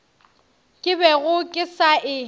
ke bego ke sa e